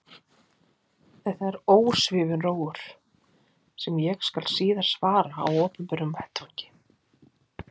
Þetta er ósvífinn rógur, sem ég skal síðar svara á opinberum vettvangi.